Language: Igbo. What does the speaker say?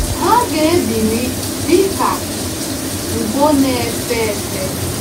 Ha ga-ebili dị ka ugo na-efe efe.